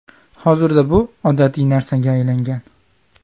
Hozirda bu odatiy narsaga aylangan.